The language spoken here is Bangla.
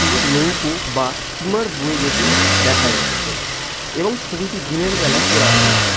একটি নৌকো বা স্টিমার বয়ে যেতে দেখা যাচ্ছে এবং ছবি টি দিনের বেলা তোলা হয়েছে ।